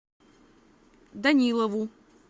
данилову